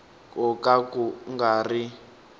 ko ka ku nga ri